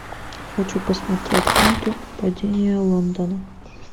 хочу посмотреть ленту падение лондона